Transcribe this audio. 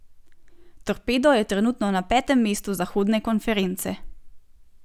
Torpedo je trenutno na petem mestu zahodne konference.